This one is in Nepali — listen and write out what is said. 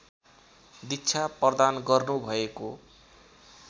दीक्षा प्रदान गर्नुभएको